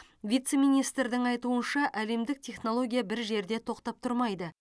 вице министрдің айтуынша әлемдік технология бір жерде тоқтап тұрмайды